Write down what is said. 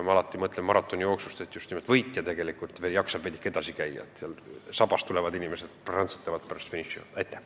Ma olen ikka mõelnud, miks maratonijooksus just nimelt võitja jaksab pärast lõpetamist veel edasi käia, sabas tulevad inimesed aga prantsatavad pärast finišijoont maha.